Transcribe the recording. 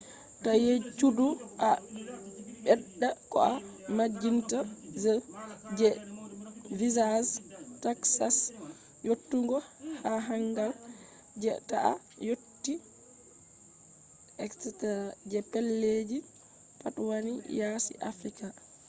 ta yejjutu a ɓedda ko a majjinta je visas taxes yottugo jahangal je ta a yotti etc. je pellelji pat wani yasi africa